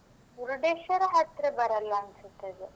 ಮುರ್ಡೇಶ್ವರ ಹತ್ರ ಬರಲ್ಲಾ ಅನ್ಸುತ್ತೆ ಅದು.